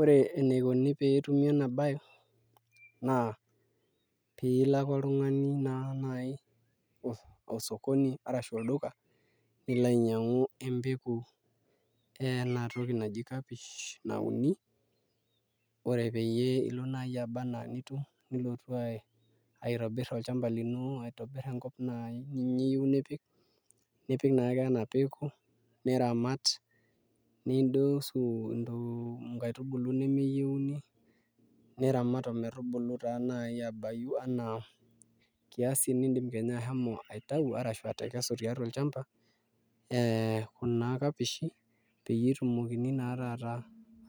Ore enikoni pee etumi ena baye naa pee ilo ake oltung'ani naa naai osokoni arashu olduka nilo ainyiang'u empeku ena toki naji kapsish nauni ore peyie ilo naai aba enaa nitum nilotu aitobirr olchamba lino aitobirr enkop naai naa ninye iyieu nipik nipik naake ena peku niramat nindosu intokitin nkaitubulu nemeyieuni niramat ometubulu naa naai aabayu enaa kiasi niidim kenya ashomo aitayu arashu atekesu tiatua olchamba ee kuna kapishi peyie etumokini naa taata